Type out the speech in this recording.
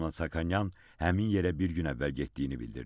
Lyobomnonyan həmin yerə bir gün əvvəl getdiyini bildirdi.